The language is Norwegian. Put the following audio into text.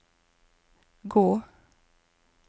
gå